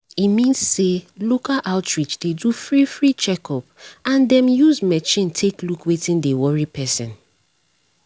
e mean say local outreach dey do free free checkup and dem use machine take look wetin dey worry person.